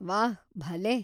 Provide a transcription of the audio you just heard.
ವಾಹ್‌, ಭಲೇ!